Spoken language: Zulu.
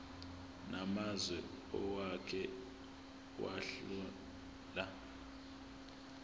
namazwe owake wahlala